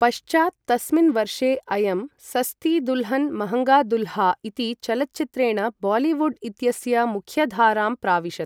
पश्चात् तस्मिन् वर्षे अयं सस्ती दुल्हन् महङ्गा दूल्हा इति चलच्चित्रेण बालिवुड् इत्यस्य मुख्यधारां प्राविशत्।